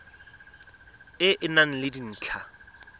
e e nang le dintlha